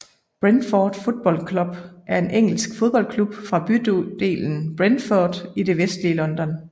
Brentford Football Club er en engelsk fodboldklub fra bydelen Brentford i det vestlige London